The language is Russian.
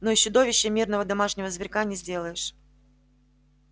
но из чудовища мирного домашнего зверька не сделаешь